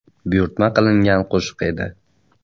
Buyurtma qilingan qo‘shiq edi.